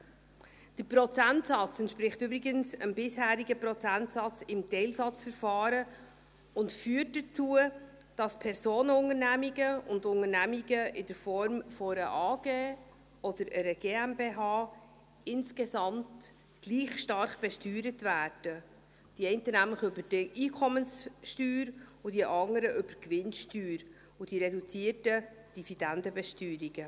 Der Prozentsatz entspricht übrigens dem bisherigen Prozentsatz im Teilsatzverfahren und führt dazu, dass Personenunternehmungen und Unternehmungen in Form einer AG oder einer GmbH insgesamt gleich stark besteuert werden, nämlich die einen über die Einkommenssteuer und die anderen über die Gewinnsteuer und die reduzierten Dividendenbesteuerungen.